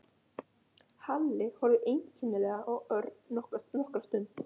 Halli horfði einkennilega á Örn nokkra stund.